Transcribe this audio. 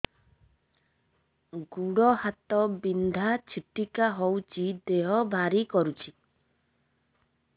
ଗୁଡ଼ ହାତ ବିନ୍ଧା ଛିଟିକା ହଉଚି ଦେହ ଭାରି କରୁଚି